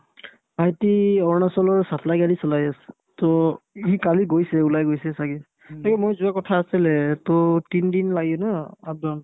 ভাইটি অৰুণাচলৰ supply গাড়ী চলাই আছে to সি কালি গৈছে ওলাই গৈছে ছাগে তাকে মই যোৱা কথা আছিলে to তিন দিন লাগে না up down